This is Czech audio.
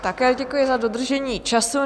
Také děkuji za dodržení času.